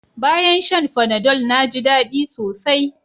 Bayan shan Panadol na ji daɗi sosai